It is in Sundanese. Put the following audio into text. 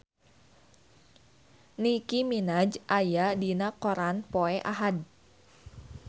Nicky Minaj aya dina koran poe Ahad